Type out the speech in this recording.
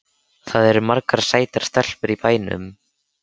Það eru margar sætar stelpur í bænum.